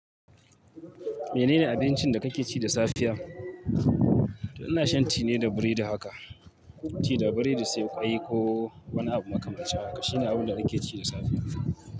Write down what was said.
Menene abincin da kake ci da safiya? Ina shan tea ne da biredi haka. Tea da biredi sai ƙwai ko wani abu makamancin haka. Shine abun da nake ci da safe.